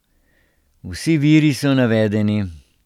Vsi viri so navedeni.